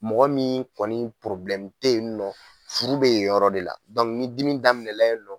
Mɔgɔ min kɔni tɛ yen nɔ furu bɛ yen yɔrɔ de la ni dimi daminɛna yen